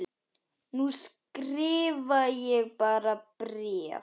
Nú skrifa ég bara bréf!